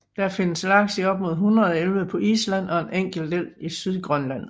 Der findes laks i op mod 100 elve på Island og i en enkelt elv i Sydgrønland